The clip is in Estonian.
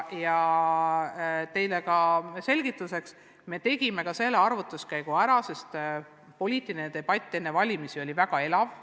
Selgituseks ka nii palju, et me tegime selle arvutuskäigu ära, sest poliitiline debatt enne valimisi oli väga elav.